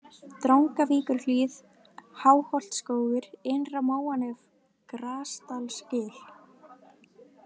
Drangavíkurhlíð, Háholtsskógur, Innra-Móanef, Grasdalsgil